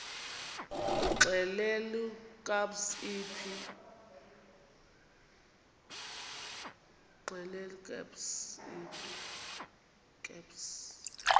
xelel kabs iphi